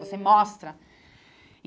Você mostra.